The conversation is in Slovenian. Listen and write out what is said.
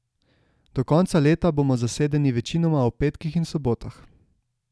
Do konca leta bomo zasedeni večinoma ob petkih in sobotah.